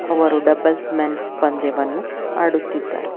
ಅವರು doubles men's ಪಂದ್ಯವನ್ನು ಆಡುತ್ತಿದ್ದಾರೆ.